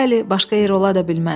Bəli, başqa yer ola da bilməz.